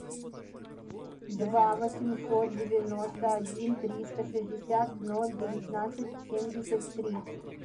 два восемьсот девяносто один триста шестьдесят ноль девятнадцать семьдесят три